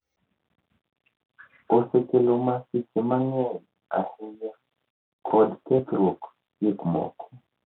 osekelo masiche mang'eny ahinya kod kethruok gikmoko